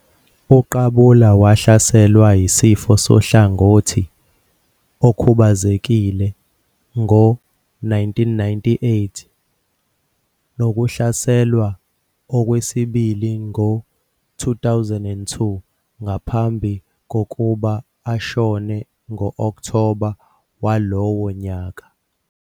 UQabula wahlaselwa yisifo sohlangothi okhubazekile ngo-1998 nokuhlaselwa okwesibili ngo-2002 ngaphambi kokuba ashone ngo-Okthoba walowo nyaka.